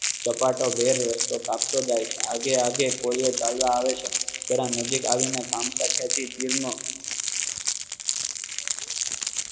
ઝપાટા ભેર રસ્તો કાપ તો જાય છે. આગે આગે કોળીઓ ચાલવા આવે છે નજીક આવી ને કામ સકે છે